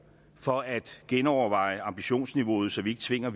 for at genoverveje ambitionsniveauet så vi ikke tvinger